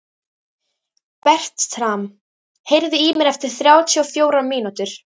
Bertram, heyrðu í mér eftir þrjátíu og fjórar mínútur.